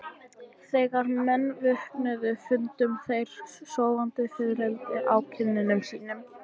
Þegar menn vöknuðu fundu þeir sofandi fiðrildi á kinnum sínum.